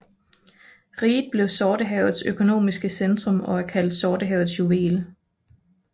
Riget blev Sortehavets økonomiske centrum og er kaldt Sortehavets juvel